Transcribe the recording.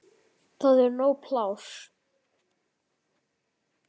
Það er nóg pláss.